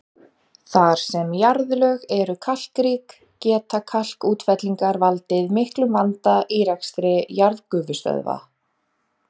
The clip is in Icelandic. Þar sem jarðlög eru kalkrík geta kalkútfellingar valdið miklum vanda í rekstri jarðgufustöðva.